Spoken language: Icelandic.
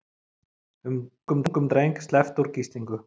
Ungum dreng sleppt úr gíslingu